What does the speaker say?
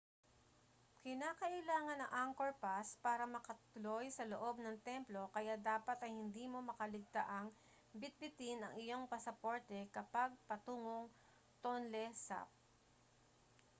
kinakailangan ang angkor pass para makatuloy sa loob ng templo kaya dapat ay hindi mo makaligtaang bitbitin ang iyong pasaporte kapag patungong tonle sap